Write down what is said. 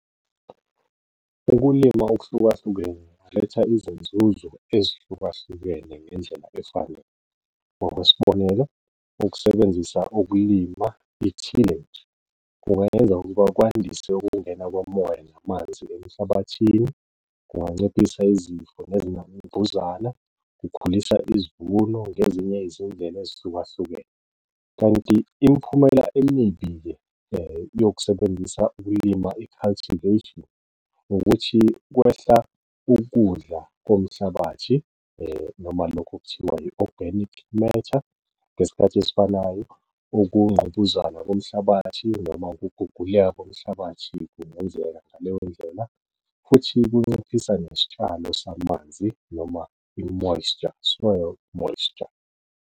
Ukulima okuhlukahlukene kuletha izinzuzo ezihlukahlukene ngendlela efanele ngokwesibonelo, ukusebenzisa ukulima kungayenza ukuba kwandiswe ukungena komoya namanzi emhlabathini, kunganciphisa izifo nezinambuzana, kukhulisa izivuno ngezinye izindlela ezihlukahlukene. Kanti imiphumela emibi-ke yokusebenzisa ukulima i-cultivation, ukuthi kwehla ukudla komhlabathi noma lokhu okuthiwa i-organic matter. Ngesikhathi esifanayo ukungqubuzana komhlabathi noma ukuguguleka komhlabathi kungenzeka ngaleyo ndlela, futhi kunciphisa nesihlalo samanzi noma i-moisture, soil moisture.